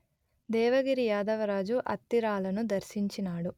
దేవగిరి యాదవరాజు అత్తిరాలను దర్శించినాడు